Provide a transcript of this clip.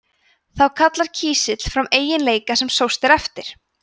þá kallar kísill fram eiginleika sem sóst er eftir